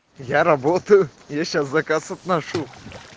я работаю я сейчас заказ отношу